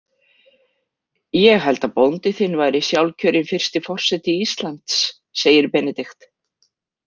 Ég held að bóndi þinn væri sjálfkjörinn fyrsti forseti Íslands, segir Benedikt.